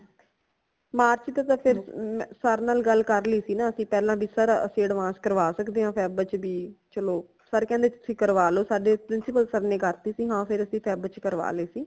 March ਚ ਤੇ ਫਿਰ sir ਨਾਲ ਗੱਲ ਕਰ ਲੀ ਸੀ ਨਾ ਅਸੀਂ ਪਹਿਲਾ ਭੀ sir ਅਸੀਂ advance ਕਰਵਾ ਸਕਦੇ ਹਾਂ ਫੈਬ ਚ ਭੀ ਚਲੋ sir ਕਹਿੰਦੇ ਕਰਵਾ ਲੋ ਸਾੜੇ principal sir ਨੇ ਕਰਤੀ ਸੀ ਹਾਂ ਫਿਰ ਅਸੀਂ ਫੈਬ ਚ ਕਰਵਾ ਲਈ ਸੀ